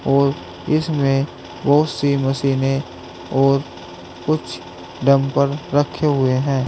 और इसमें बहुत सी मशीने और कुछ डम्बल रखे हुए हैं।